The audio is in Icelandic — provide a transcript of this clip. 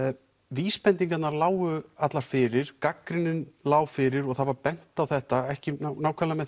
vísbendingarnar lágu allar fyrir gagnrýnin lá fyrir og það var bent á þetta ekki nákvæmlega með